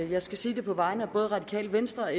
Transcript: jeg sige på vegne af både og radikale venstre og